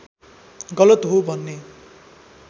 गलत हो भन्ने